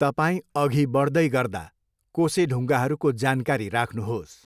तपाईँ अघि बढ्दै गर्दा कोसेढुङ्गाहरूको जानकारी राख्नुहोस्।